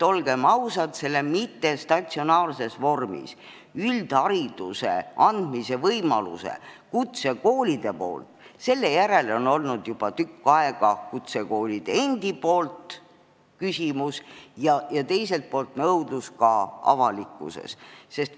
Olgem ausad, kutsekoolides mittestatsionaarses vormis üldhariduse andmise võimaluse järele on olnud juba tükk aega kutsekoolide endi nõudlust ja teiselt poolt on olnud nõudlust ka avalikkuses.